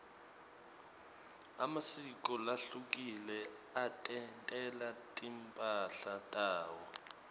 emasiko lahlukile atentela timphahla tawo